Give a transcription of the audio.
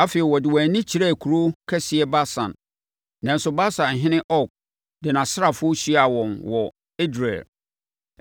Afei, wɔde wɔn ani kyerɛɛ kuro kɛseɛ Basan, nanso Basanhene Og de nʼasraafoɔ hyiaa wɔn wɔ Edrei.